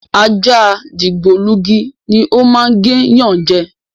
Ajá dìgbòlugi ni o máa ń gé yan je.